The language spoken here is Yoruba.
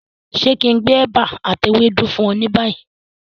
Ṣe kí n gbé ẹ̀bà ati ewédú fún ọ ni bayi?